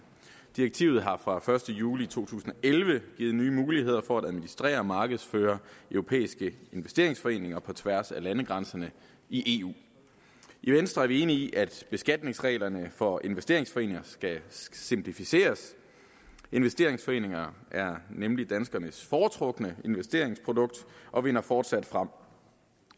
direktivet har fra første juli to tusind og elleve givet nye muligheder for at administrere og markedsføre europæiske investeringsforeninger på tværs af landegrænserne i eu i venstre er vi enige i at beskatningsreglerne for investeringsforeninger skal simplificeres investeringsforeninger er nemlig danskernes foretrukne investeringsprodukt og vinder fortsat frem